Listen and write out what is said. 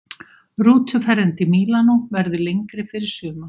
Rútuferðin til Mílanó verður lengri fyrir suma.